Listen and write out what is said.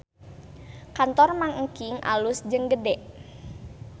Kantor Mang Engking alus jeung gede